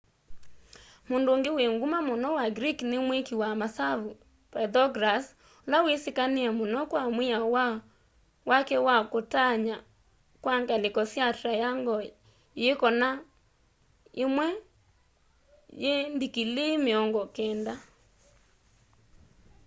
mũndũ ũngĩ wĩ ngũma mũno wa greek nĩ mwĩkĩ wa masavũ pythagoras ũla wĩsĩkanĩe mũno kwa mwĩao wake wa kũtaanya kwa ngalĩko sya triangle yĩ kona ĩmwe yĩ ndikilii mĩongo kenda